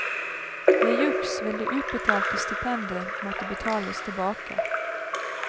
Ved juks vil det utbetalte stipendet måtte betales tilbake.